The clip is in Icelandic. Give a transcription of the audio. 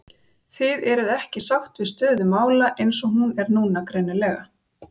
Guðjón: Þið eruð ekki sátt við stöðu mála eins og hún er núna greinilega?